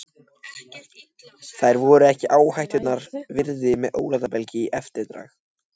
Þær voru ekki áhættunnar virði með ólátabelg í eftirdragi.